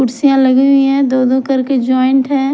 कुर्सियाँ लगी हुई है दो दो करके जॉइंट है।